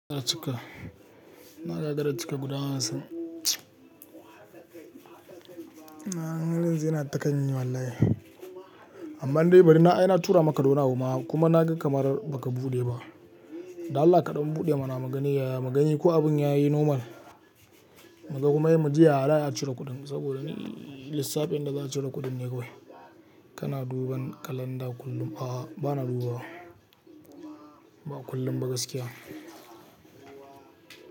Na cika. Na gagara cika guda hamsin. Amma har yanzu yana ta kan yi wallahi. Amma dai bari, na ai na tura maka dawani a buma kuma na ga kamar ba ka buɗe ba. Da Allah kaɗan buɗe ma na mugani, mugani ko abin ya yi normal mu ga kuma muji Yaza'ayi, a cire kuɗin saboda lissafin da za a cire kuɗin ne kawai. Kana duban kalanda kullum? A'a, ba na duba wa. Ba kullum ba gaskiya.